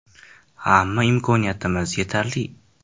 Hamma imkoniyatimiz yetarli.